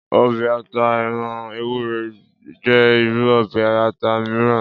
Ọbẹ̀ ata ẹran ewúré jẹ́ irú ọbẹ̀ ata miran.